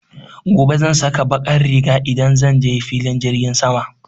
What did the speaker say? Gobe zan saka baƙar riga idan zan je filin jirgin sama.